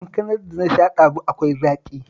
Kankanar da na sha ɗazu akwai zaƙi